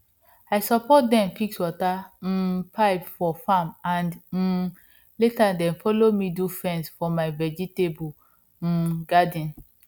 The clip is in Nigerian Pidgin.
i support dem fix water um pipe for farm and um later dem follow me do fence for my vegetable um garden